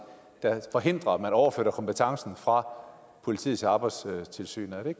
der forhindrer at man overflytter kompetencen fra politiet til arbejdstilsynet